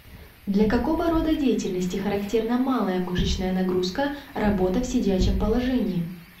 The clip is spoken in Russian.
для какого рода деятельности характерна малая мышечная нагрузка работа в сидячем положении